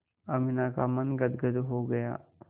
अमीना का मन गदगद हो गया